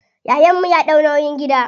Yayan mu ya ɗau nauyin gida.